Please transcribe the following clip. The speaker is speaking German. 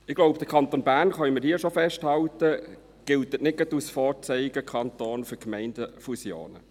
Ich glaube, der Kanton Bern – das können wir hier schon festhalten – gilt nicht gerade als Vorzeigekanton für Gemeindefusionen.